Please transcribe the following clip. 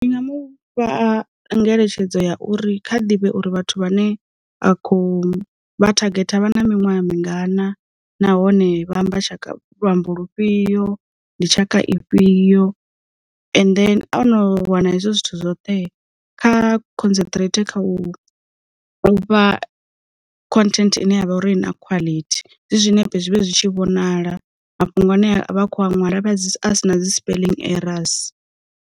Ndinga mufha ngeletshedzo ya uri kha ḓivhe uri vhathu vha ne a khou vha thagetha vha na miṅwaha mingana nahone vha amba tshaka luambo lufhio, ndi tshaka ifhio, and then ono wana hezwo zwithu zwoṱhe, kha concentrate kha u vha content ine ya vha uri na quality, zwi zwinepe zwi vhe zwi tshi vhonala, mafhungo ane a kho ṅwala vha a si na dzi spelling errors.